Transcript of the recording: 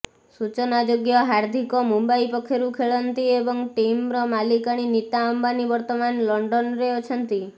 ସୂଚନାଯୋଗ୍ୟ ହାର୍ଦ୍ଦିକ ମୁମ୍ବାଇ ପକ୍ଷରୁ ଖେଳନ୍ତି ଏବଂ ଟିମର ମାଲିକାଣୀ ନୀତା ଅମ୍ବାନୀ ବର୍ତ୍ତମାନ ଲଣ୍ଡନରେ ଅଛନ୍ତି